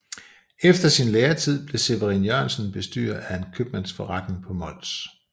Efter sin læretid blev Severin Jørgensen bestyrer af en købmandsforretning på Mols